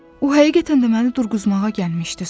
O, həqiqətən də məni durğuzmağa gəlmişdi.